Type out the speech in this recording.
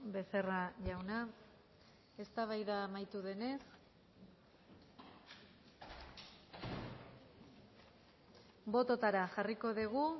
becerra jauna eztabaida amaitu denez bototara jarriko dugu